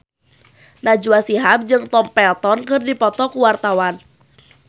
Najwa Shihab jeung Tom Felton keur dipoto ku wartawan